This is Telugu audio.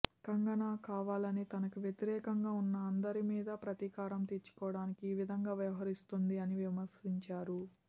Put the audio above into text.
కంగనా కావాలని తనకి వ్యతిరేకంగా ఉన్న అందరి మీద ప్రతీకారం తీర్చుకోవడానికి ఈ విధంగా వ్యవహరిస్తోంది అని విమర్శించారు